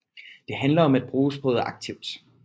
Det handler om at bruge sproget aktivt